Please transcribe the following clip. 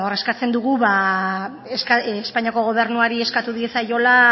eskatzen dugun espainiako gobernuari eskatu diezaiola